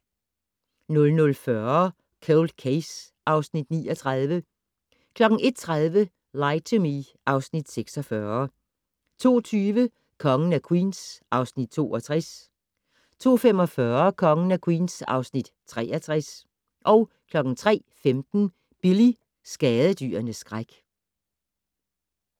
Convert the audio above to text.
00:40: Cold Case (Afs. 39) 01:30: Lie to Me (Afs. 46) 02:20: Kongen af Queens (Afs. 62) 02:45: Kongen af Queens (Afs. 63) 03:15: Billy - skadedyrenes skræk